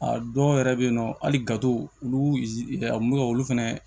A dɔw yɛrɛ bɛ yen nɔ hali gato olu ka olu fɛnɛ